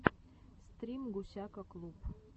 стрим гусяка клуб